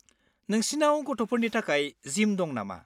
नोंसिनाव गथ'फोरनि थाखाय जिम दं नामा?